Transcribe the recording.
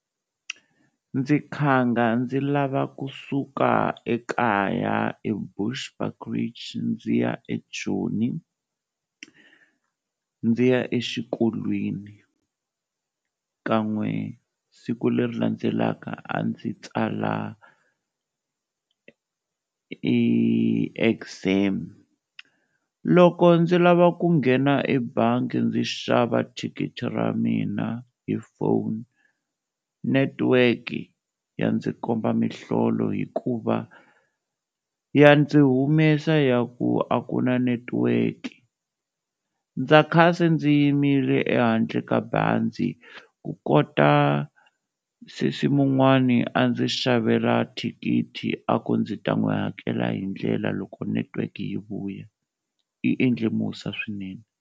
Ndzi khanga ndzi lava kusuka ekaya eBushbuckridge ndzi ya eJoni ndzi ya exikolweni kan'we siku leri landzelaka a ndzi tsala exam, loko ndzi lava ku nghena ebangi ndzi xava thikithi ra mina hi phone, netiweke ya ndzi komba mihlolo hikuva ya ndzi humesa ya ku a ku na netiweke ndza kha se ndzi yimile ehandle ka bazi, ku kota sesi mun'wani a ndzi xavela thikithi a ku ndzi ta n'wi hakela hi ndlela loko netiweke yi vuya yi endle musa swinene.